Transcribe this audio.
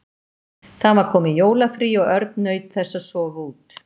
Það var komið jólafrí og Örn naut þess að sofa út.